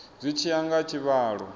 zwi tshi ya nga tshivhalo